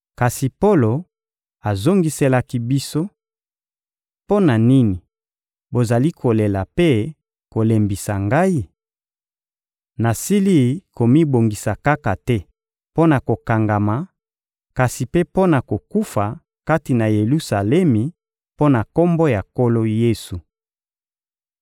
Kasi Polo azongiselaki biso: — Mpo na nini bozali kolela mpe kolembisa ngai? Nasili komibongisa kaka te mpo na kokangama, kasi mpe mpo na kokufa kati na Yelusalemi mpo na Kombo ya Nkolo Yesu.